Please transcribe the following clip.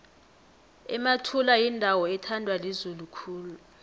emathula yindawo ethandwa lizulu khulu